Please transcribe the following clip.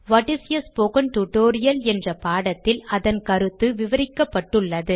what is a spoken tutorial என்ற பாடத்தில் அதன் கருத்து விவரிக்கப்பட்டுள்ளது